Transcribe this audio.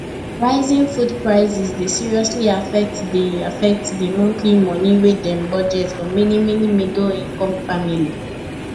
rising food prices dey seriously affect di affect di monthly money wy dem budget for many many middleincome family